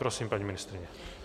Prosím, paní ministryně.